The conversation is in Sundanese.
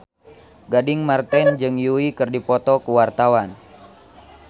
Gading Marten jeung Yui keur dipoto ku wartawan